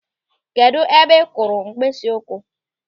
Kedụ ebe ị kụrụ mkpịsịụkwụ?